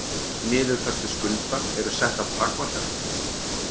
Niðurfærslu skulda eru settar takmarkanir